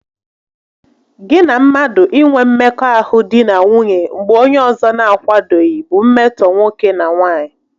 Gị na mmadụ inwe mmekọahụ di na nwunye mgbe onye ọzọ n'akwadoghị bụ mmetọ nwoke na nwaanyị